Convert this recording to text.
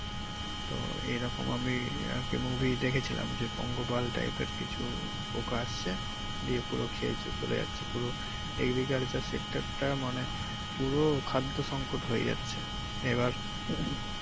তো এরকম আমি আরকি movie দেখেছিলাম যে পঙ্গপাল type এর কিছু পোকা আসছে দিয়ে পুরো খেয়ে চলে যাচ্ছে পুরো agriculture sector টা মানে পুরো খাদ্য সংকট হয়ে যাচ্ছে এবার